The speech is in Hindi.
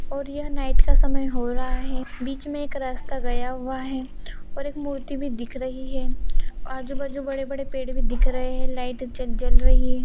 और यह नाइट का समय हो रहा है। बीच में एक रास्ता गया हुआ है और एक मूर्ति भी दिख रही है। आजू-बाजू बड़े-बड़े पेड़ भी दिख रहे हैं। लाइट ज जल रही --